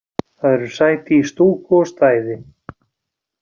Það eru sæti í stúku og stæði